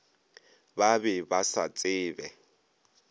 ba be ba sa tsebe